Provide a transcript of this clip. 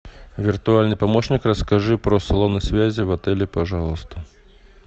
виртуальный помощник расскажи про салоны связи в отеле пожалуйста